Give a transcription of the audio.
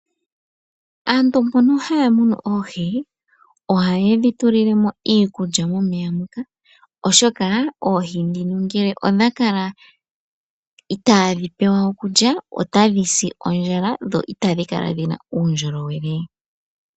Aantu mbono ha ya munu oohi, oha ye dhi tulilemo iikulya, momeya moka, oshoka oohi ndhoka ngele odha kala itaa dhibpewa okulya ota dhi si ondjala, dho ita dhi kala dhina uundjolowele.